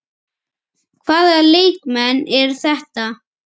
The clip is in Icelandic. Hvaða leikmenn eru þetta?